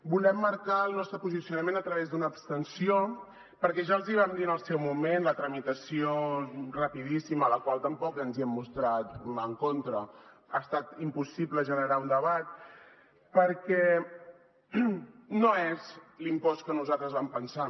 volem marcar el nostre posicionament a través d’una abstenció perquè ja els hi vam dir en el seu moment amb la tramitació rapidíssima de la qual tampoc ens hem mostrat en contra ha estat impossible generar un debat no és l’impost que nosaltres vam pensar